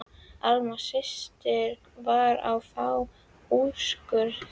Alma systir var að fá úrskurð.